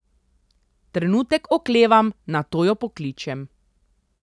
Trenutek oklevam, nato jo pokličem.